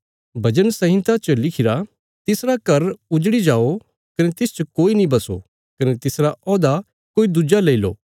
भजन संहिता च लिखिरा तिसरा घर उजड़ी जाओ कने तिसच कोई नीं बसो कने तिसरा औहदा कोई दुज्जा लईलो